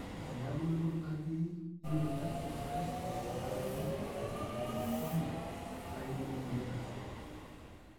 tenebulu entoki naji "uric acid crystals" tenkaraki "hyperuricemia",na kebulu emoyian egout.